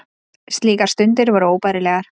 Slíkar stundir voru óbærilegar.